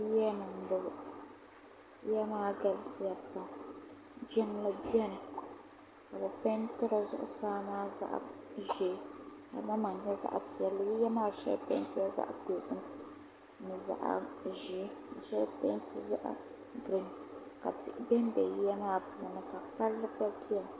yiya ni m-bɔŋɔ yiya maa galisiya pam jiŋli beni ka bɛ peenti di zuɣusaa maa zaɣ' ʒee ka di maŋmaŋa nyɛ zaɣ' piɛlli yiya maa shɛli peentila zaɣ' dozim ni zaɣ' ʒee ka shali peenti zaɣ' giriin ka tihi be m-be yiya maa puuni ka palli gba beni